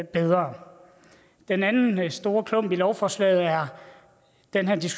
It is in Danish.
bedre den anden store klump i lovforslaget er den her